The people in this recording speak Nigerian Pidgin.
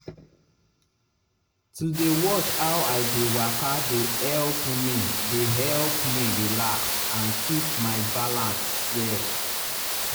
to dey watch how i dey waka dey help me dey help me relax and keep my balance well.